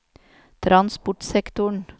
transportsektoren